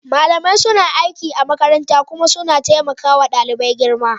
Malamai suna aiki a makaranta kuma suna taimaka wa ɗalibai girma.